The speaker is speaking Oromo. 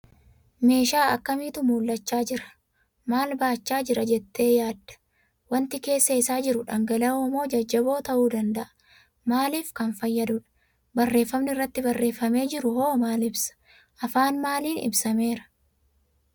Meeshaa akkamiitu mul'achaa jira? Maal baachaa jira jettee yaadda? Waanti keessa isaa jiru dhangala'oo moo jajjaboo ta'uu danda'a? Maaliif kan fayyadudha? Barreeffamni irratti barreeffamee jiru hoo maal ibsa? Afaan maaliin ibsameera?